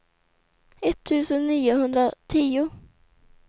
etttusen niohundratio